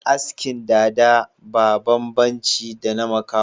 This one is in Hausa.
Asken dada ba babban ci da na makaho